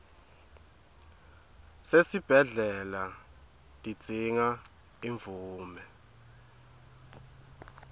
sesibhedlela tidzinga imvume